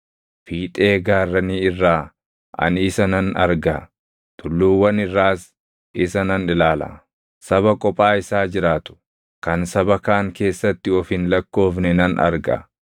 Fiixee gaarranii irraa ani isa nan arga; tulluuwwan irraas isa nan ilaala. Saba kophaa isaa jiraatu, kan saba kaan keessatti of hin lakkoofne nan arga.